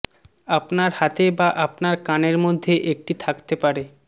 আপনার হাতে বা আপনার কানের মধ্যে একটি থাকতে পারে